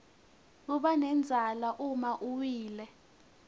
kubanendzala uma uwile